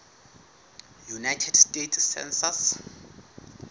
united states census